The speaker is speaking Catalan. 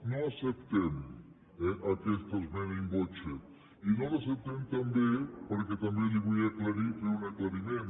no acceptem eh aquesta esmena in voce i no l’acceptem també perquè també li vull fer un aclariment